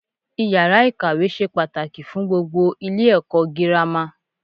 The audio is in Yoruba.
Iyàrá ikawe se pàtàkì fun gbogbo Ilé èkó girama